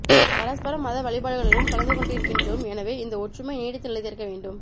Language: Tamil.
பரஸ்பரம் மத வழிபாடுகளிலும் கலந்துகொண்டிருகின்றோம் எனவே இந்த ஒற்றுமை நீடித்து நிலைத்திருக்க வேண்டும்